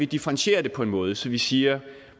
differentiere det på en måde så vi siger